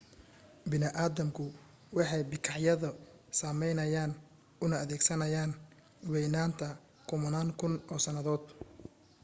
bini aadamku waxay bikaacyada sameynayeen una adeegsanayeen waynaynta kumanaan kun oo sannadood